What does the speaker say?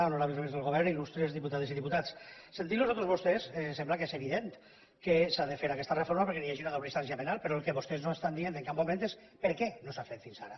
honorables membres del govern il·lustres diputades i diputats sentint los a tots vostès em sembla que és evident que s’ha de fer aquesta reforma perquè hi hagi una doble instància penal però el que vostès no estan dient en cap moment és per què no s’ha fet fins ara